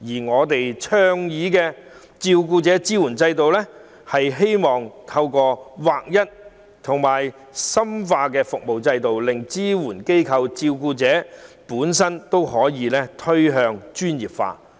我們倡議設立照顧者支援制度，是希望透過劃一和深化服務制度，令支援機構及照顧者本身趨向專業化。